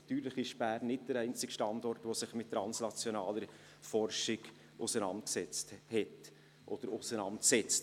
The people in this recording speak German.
Natürlich ist Bern nicht der einzige Standort, welcher sich mit translationaler Forschung auseinandergesetzt hat oder auseinandersetzt.